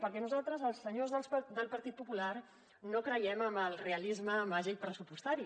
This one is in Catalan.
perquè nosaltres els senyors del partit popular no creiem en el realisme màgic pressupostari